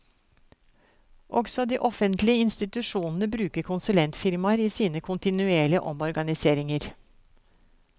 Også de offentlige institusjonene bruker konsulentfirmaer i sine kontinuerlige omorganiseringer.